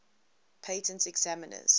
patent examiners